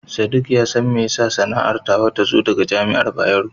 Sadik ya san mene ne yasa sanarwar ta zo daga Jami'ar Bayero.